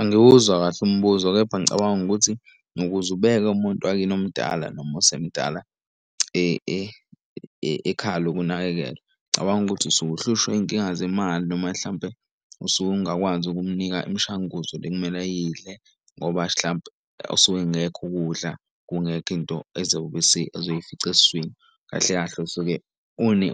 Angiwuzwa kahle umbuzo kepha ngicabanga ukuthi nokuze ubeke umuntu wakini omdala noma osemdala ekhaya lokunakekelwa. Ngicabanga ukuthi usuke uhlushwa izinkinga zemali noma mhlampe usuke ungakwazi ukumnika imishanguzo le ekumele ayidle ngoba hlampe usuke engekho ukudla, kungekho into ezoy'fica eswini. Kahle kahle usuke